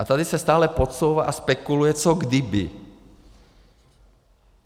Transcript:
A tady se stále podsouvá a spekuluje, co kdyby.